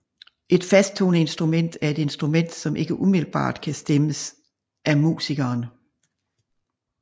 Et fasttoneinstrument er et instrument som ikke umiddelbart kan stemmes af musikeren